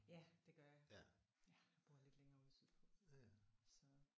Ja det gør jeg. Jeg bor lidt længere ude sydpå så